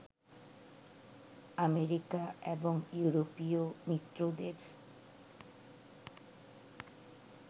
America এবং ইউরোপীয় মিত্রদের